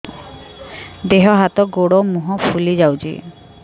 ଦେହ ହାତ ଗୋଡୋ ମୁହଁ ଫୁଲି ଯାଉଛି